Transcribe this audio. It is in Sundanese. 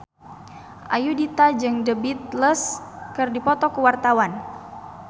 Ayudhita jeung The Beatles keur dipoto ku wartawan